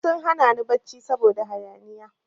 Duk sun hana ni barci saboda hayaniya.